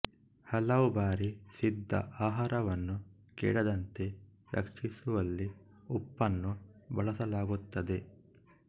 ಹಲವು ಬಾರಿ ಸಿದ್ಧ ಆಹಾರವನ್ನು ಕೆಡದಂತೆ ರಕ್ಷಿಸುವಲ್ಲಿ ಉಪ್ಪನ್ನು ಬಳಸಲಾಗುತ್ತದೆ